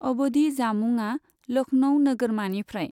अबधि जामुंआ लखनऊ नोगोरमानिफ्राय।